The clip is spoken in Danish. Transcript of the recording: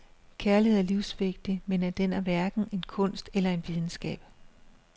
Kærlighed er livsvigtig, men den er hverken en kunst eller en videnskab.